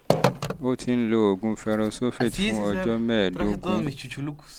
o ti ń lo oògùn ferrous sulfate fún ọjọ́ mẹ́ẹ̀ẹ́dógún